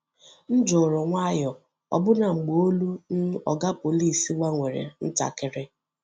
M juru nwayọọ ọbụna mgbe olu um Oga Pọlịs gbanwere ntakịrị.